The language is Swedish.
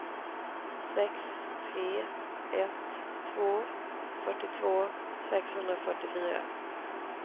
sex tre ett två fyrtiotvå sexhundrafyrtiofyra